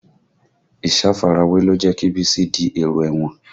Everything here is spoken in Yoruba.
Ìsafarawé ló jẹ́ kí Bísí di èrò ẹ̀wọ̀n